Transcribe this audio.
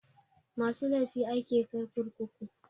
Masu laifi ake kai kurkuku.